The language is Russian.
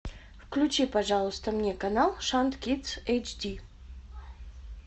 включи пожалуйста мне канал шант кидс эйч ди